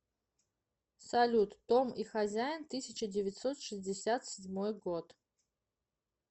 салют том и хозяин тысяча девятьсот шестьдесят седьмой год